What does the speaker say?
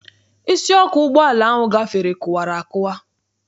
Isi ọkụ ụgbọala ahụ gafere kụwara akụwa.